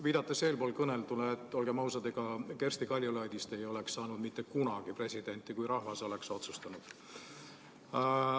Viidates eespool kõneldule, olgem ausad, ega Kersti Kaljulaidist ei oleks mitte kunagi presidenti saanud, kui rahvas oleks otsustanud.